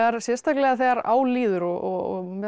sérstaklega þegar á líður og meðal